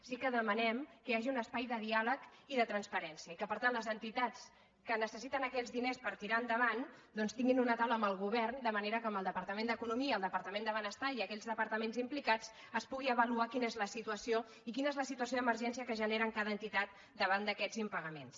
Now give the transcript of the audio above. sí que demanem que hi hagi un espai de diàleg i de transparència i que per tant les entitats que necessiten aquells diners per ti·rar endavant doncs tinguin una taula amb el govern de manera que amb el departament d’economia el departament de benestar i aquells departaments im·plicats es pugui avaluar quina és la situació i quina és la situació d’emergència que es genera en cada entitat davant d’aquests impagaments